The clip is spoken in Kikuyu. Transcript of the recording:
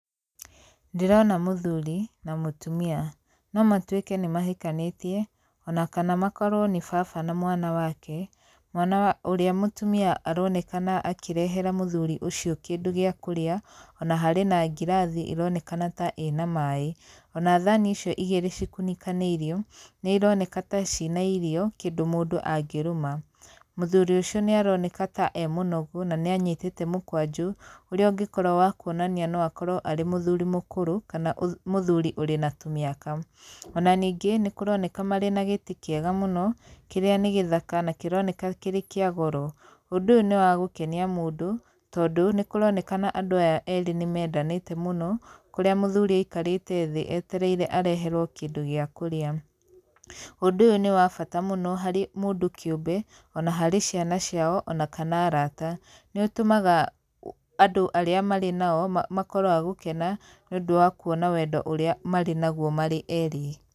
Ndĩrona mũthuri na mũtumia. No matuĩke nĩ mahikanĩtie ona kana makorwo nĩ baba na mwana wake, mwana ũrĩa mũtumia aronekana akĩrehera mũthuri ũcio kĩndũ gĩa kũrĩa, ona harĩ na ngirathi ĩronekana ta ĩ na maĩ. Ona thani icio igĩrĩ cikunĩkanĩirio, nĩ ironeka ta cina irio kĩndũ mũndũ angĩrũma. Mũthuri ũcio nĩ aroneka ta ee mũnogu, na nĩ anyitĩte mũkwanjũ, ũrĩa ũngĩkorwo wa kuonania no akorwo arĩ mũthuri mũkũrũ kana mũthuri ũrĩ na tũmĩaka. Ona ningĩ nĩ kũroneka marĩ na gĩtĩ kĩega mũno, kĩrĩa nĩ gĩthaka na kĩroneka kĩrĩ kĩa goro. Ũndũ ũyũ nĩ wa gũkenia mũndũ, tondũ nĩ kũronekana andũ aya erĩ nĩ mendanĩte mũno, kũrĩa mũthuri aikarĩte thĩ etereire areherwo kĩndũ gĩa kũrĩa. Ũndũ ũyũ nĩ wa bata mũno harĩ mũndũ kĩũmbe ona harĩ ciana ciao ona kana arata. Nĩ ũtũmaga andũ arĩa marĩ nao makorwo a gũkena nĩ ũndũ wa kuonam wendo ũrĩa marĩ naguo marĩ erĩ.